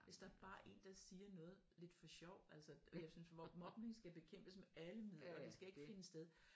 Hvis der bare er en der siger noget lidt for sjov altså jeg synes mobning skal bekæmpes med alle midler det skal ikke finde sted